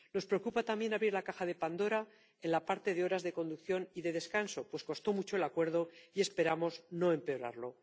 Nos preocupa también abrir la caja de Pandora en lo relativo a las horas de conducción y de descanso, pues costó mucho el acuerdo y esperamos no empeorarlo.